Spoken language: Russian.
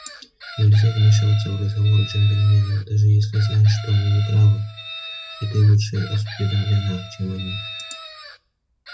нельзя вмешиваться в разговор джентльменов даже если знаешь что они не правы и ты лучше осведомлена чем они